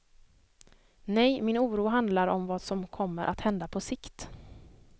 Nej, min oro handlar om vad som kommer att hända på sikt.